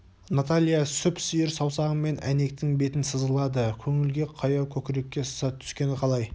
наталья сүп-сүйір саусағымен әйнектің бетін сызғылады көңілге қаяу көкірекке сызат түскені қалай